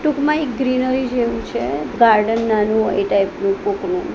ટૂંકમાં એ ગ્રીનરી જેવું છે ગાર્ડન નાનું એ ટાઇપ નું કોકનું.